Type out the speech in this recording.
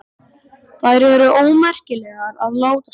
Þær eru ómerkilegar að láta svona.